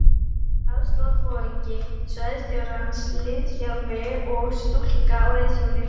Aðstoðarforingi svæðisstjórans, liðþjálfi og stúlka á reiðhjóli.